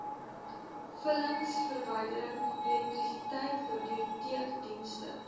vullisverwydering elektrisiteit biblioteekdienste